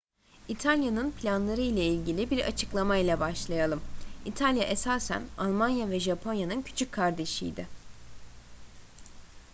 i̇talya'nın planları ile ilgili bir açıklamayla başlayalım. i̇talya esasen almanya ve japonya'nın küçük kardeşi idi